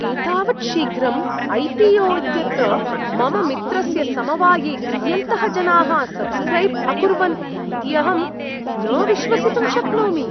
एतावत् शीघ्रं ऐ.पी.ओ. इत्यत्र मम मित्रस्य समवाये कियन्तः जनाः सब्स्क्रैब् अकुर्वन् इति अहं न विश्वसितुं शक्नोमि।